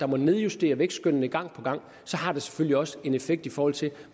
må nedjustere vækstskønnene gang på gang så har det selvfølgelig også en effekt i forhold til